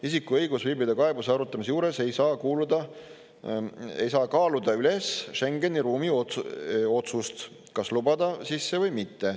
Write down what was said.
Isiku õigus viibida kaebuse arutamise juures ei saa kaaluda üles Schengeni ruumi otsust, kas lubada sisse või mitte.